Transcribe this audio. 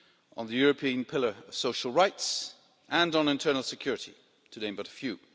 on the European Pillar of Social Rights and on internal security, to name but a few.